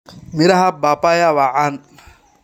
Miraha Papaya waa caan.